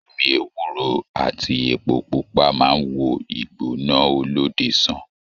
Omí ewúro àti èpo pupa máa n wò igbona olóde sàn.